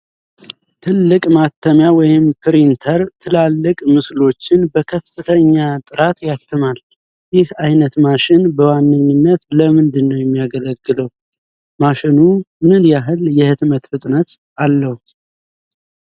ትልቅ ማተሚያ (ፕሪንተር) ትላልቅ ምስሎችን በከፍተኛ ጥራት ያትማል። ይህ አይነት ማሽን በዋነኛነት ለምንድነው የሚያገለግለው? ማሽኑ ምን ያህል የህትመት ፍጥነት አለው?